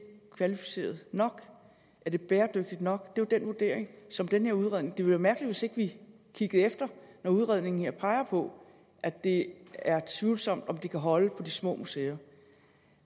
kvalificeret nok er det bæredygtigt nok det jo den vurdering som den her udredning jo være mærkeligt hvis ikke vi kiggede efter når udredningen her peger på at det er tvivlsomt om det kan holde på de små museer